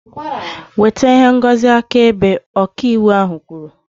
Weta ihe ngosi akaebe! Ọka ịwụ ahu kwuru